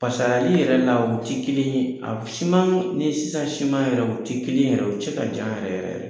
Paseke a li yɛrɛ la u ti kelen ye, a siman ni sisan siman yɛrɛ u ti kelen yɛrɛ u cɛ ka jan yɛrɛ yɛrɛ yɛrɛ